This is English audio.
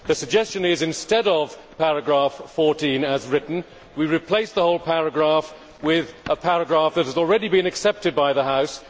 The suggestion is that, instead of paragraph 14 as written, we replace the whole paragraph with a paragraph that has already been accepted by the House.